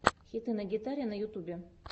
хиты на гитаре на ютубе